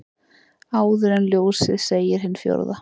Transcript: Áður en kemur ljósið segir hin fjórða.